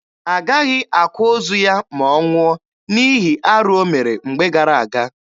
Agaghị akwa ozu ya ma ọ nwụọ, n'ihi arụ o mere mgbe gara aga.